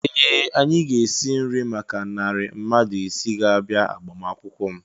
Ee! Anyị ga-esi nri maka narị mmadụ isii ga-abịa agbamakwụkwọ m.